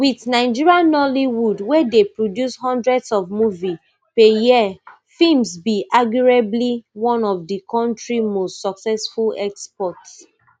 wit nigeria nollywood wey dey produce hundreds of movies per year films be arguably one of di kontri most successful exports